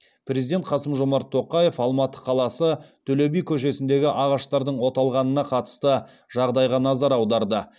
президент қасым жомарт тоқаев алматы қаласы төле би көшесіндегі ағаштардың оталғанына қатысты жағдайға назар аударды